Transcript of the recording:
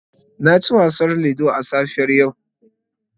Na ci wasan ludo a safiyar yau.